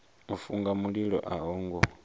u funga mililo a ho